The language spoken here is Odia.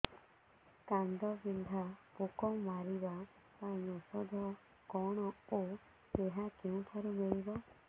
କାଣ୍ଡବିନ୍ଧା ପୋକ ମାରିବା ପାଇଁ ଔଷଧ କଣ ଓ ଏହା କେଉଁଠାରୁ ମିଳିବ